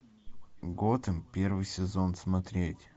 готэм первый сезон смотреть